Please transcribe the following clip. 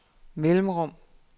mellemrum